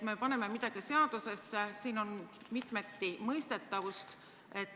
Me paneme midagi seadusesse, aga siin on mitmeti mõistetavust.